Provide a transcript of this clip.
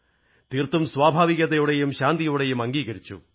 തീർത്തും സ്വഭാവികതയോടെയും ശാന്തിയോടെയും അംഗീകരിച്ചു